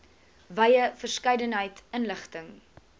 wye verskeidenheid inligting